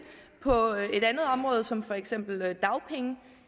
på et andet område som for eksempel dagpenge